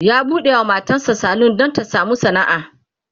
ya buɗewa matan sa salon Dan Ta samu sana'a